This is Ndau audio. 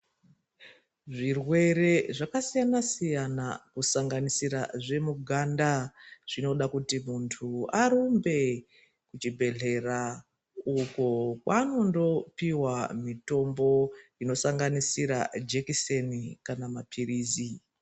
Zvirwere zvakasiyana siyana kusanganisira zvemuganda zvinoda kuti muntu arumbe kuchibhedhlera. Uko kwaanondopihwa mitombo inosanganisira jekiseni kana mapirizi.